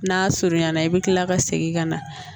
N'a surunyana i bɛ kila ka segin ka na